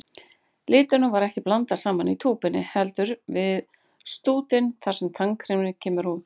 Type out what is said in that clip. Litunum er ekki blandað saman í túpunni, heldur við stútinn þar sem tannkremið kemur út.